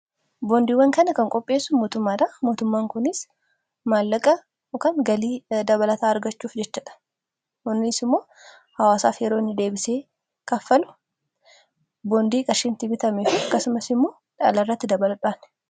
boondiiwwan kana kan qopheessu mootummaadha mootummaan kunis maallaqa ykn galii dabalataa argachuuf jechadha kunis immoo haawaasaaf yeroonni deebisee kaffalu boondii qashiin bitameefu kasumas immoo dhaalairratti dabaludhaan